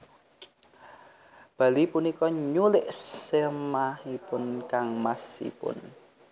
Bali punika nyulik sèmahipun kangmasipun